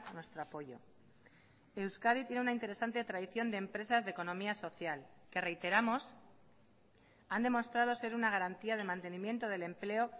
nuestro apoyo euskadi tiene una interesante tradición de empresas de economía social que reiteramos han demostrado ser una garantía de mantenimiento del empleo